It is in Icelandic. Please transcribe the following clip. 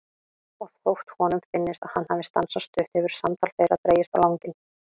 Og þótt honum finnist að hann hafi stansað stutt hefur samtal þeirra dregist á langinn.